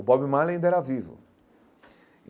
O Bob Marley ainda era vivo.